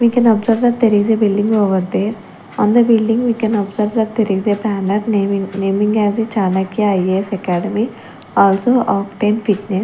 We can observe that there is a building over there on the building we can observe that there is a banner naming naming as a chanakya ias academy also fitness.